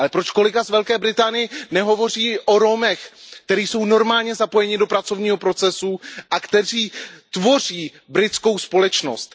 Ale proč kolega z Velké Británie nehovoří o Romech, kteří jsou normálně zapojeni do pracovního procesu a kteří tvoří britskou společnost?